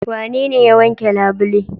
Wanene ya wanke labule.